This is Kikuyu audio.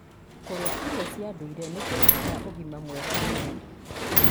Kũrĩa irio cia ndũire nĩ kũrehaga ũgima mwega wa mwĩrĩ.